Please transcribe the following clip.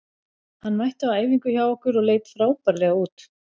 Hann mætti á æfingu hjá okkur og leit frábærlega út.